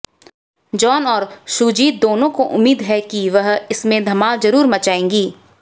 John और शुजीत दोनों को उम्मीद है कि वह इसमें धमाल जरूर मचाएंगी